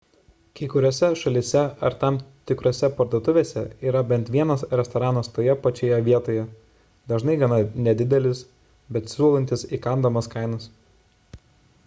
kai kuriose šalyse ar tam tikrose parduotuvėse yra bent vienas restoranas toje pačioje vietoje dažnai gana nedidelis bet siūlantis įkandamas kainas